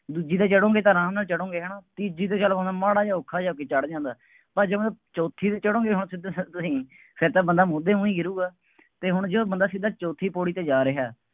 ਦੂਜੀ ਤੇ ਚੜੋਂਗੇ ਤਾਂ ਆਰਾਮ ਨਾਲ ਚੜੌਂਗੇ ਹੈ ਨਾ, ਤੀਜੀ ਤੇ ਚਲੱ ਬੰਦਾ ਮਾੜਾ ਜਿਹਾ ਔਖਾ ਜਿਹਾ ਹੋ ਕੇ ਚੜ੍ਹ ਜਾਂਦਾ, ਬੱਸ ਜਿਵੇਂ ਚੌਥੀ ਤੇ ਚੜੌਂਗੇ, ਹੁਣ ਸਿੱਧੇ ਸਿੱਧੇ ਤੁਸੀਂ, ਫੇਰ ਤਾਂ ਬੰਦਾ ਮੂਧੇ ਮੂੰਹ ਹੀ ਗਿਰੂਗਾ, ਅਤੇ ਹੁਣ ਜਦੋਂ ਬੰਦਾ ਸਿੱਧਾ ਚੌਥੀ ਪੌੜੀ ਤੇ ਜਾ ਰਿਹਾ,